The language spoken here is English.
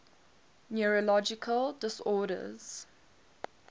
neurological disorders